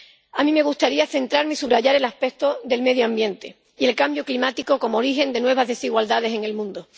A mí me gustaría centrarme y subrayar el aspecto del medio ambiente y del cambio climático como origen de nuevas desigualdades en el mundo.